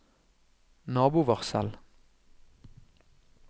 nabovarsel